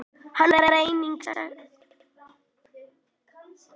Hann var einnig sektaður af félaginu